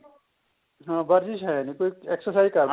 ਹਾਂ ਵਰਜਿਸ਼ ਹੈ ਜੀ exercise